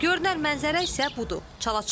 Görünən mənzərə isə budur.